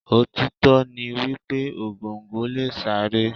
Òtítọ́ ni wípé Ògòǹgò lè sáré.